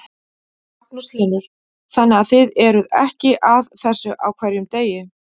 Magnús Hlynur: þannig að þið eruð ekki að þessu á hverjum degi?